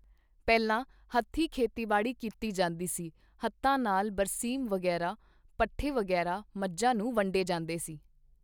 ਪਹਿਲਾਂ ਹੱਥੀਂ ਖੇਤੀਬਾੜੀ ਕੀਤੀ ਜਾਂਦੀ ਸੀ ਹੱਥਾਂ ਨਾਲ ਬਰਸੀਮ ਵਗੈਰਾ ਪੱਠੇ ਵਗੈਰਾ ਮੱਝਾਂ ਨੂੰ ਵੰਢੇ ਜਾਂਦੇ ਸਨ